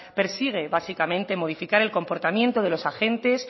persigue básicamente modificar el comportamiento de los agentes